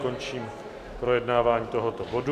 Končím projednávání tohoto bodu.